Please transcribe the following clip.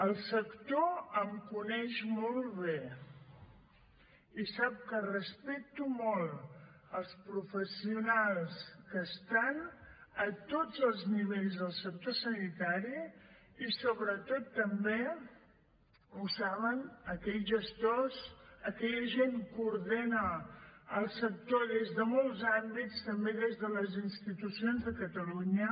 el sector em coneix molt bé i sap que respecto molt els professionals que estan a tots els nivells del sector sanitari i sobretot també ho saben aquells gestors aquella gent que ordena el sector des de molts àmbits també des de les institucions de catalunya